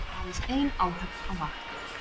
Aðeins ein áhöfn á vakt